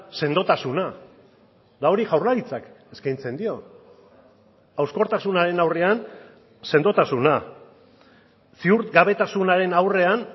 sendotasuna eta hori jaurlaritzak eskaintzen dio hauskortasunaren aurrean sendotasuna ziurgabetasunaren aurrean